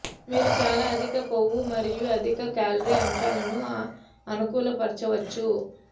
మీరు చాలా అధిక కొవ్వు మరియు అధిక క్యాలరీ అంశాలను అనుకూలపరచవచ్చు